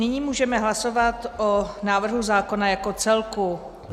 Nyní můžeme hlasovat o návrhu zákona jako celku.